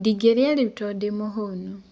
Ndĩngĩrĩa rĩũ tondũ ndĩmũhũnu.